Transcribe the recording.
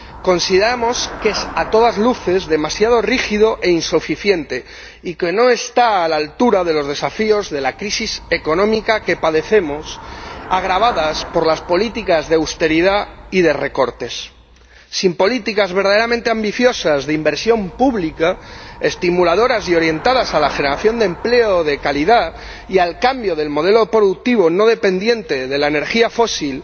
Consideramos que es a todas luces demasiado rígido e insuficiente, y que no está a la altura de los desafíos de la crisis económica que padecemos, agravada por las políticas de austeridad y de recortes. Sin políticas verdaderamente ambiciosas de inversión pública, estimuladoras y orientadas a la generación de empleo de calidad y al cambio del modelo productivo no dependiente de la energía fósil,